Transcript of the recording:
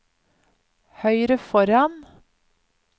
høyre foran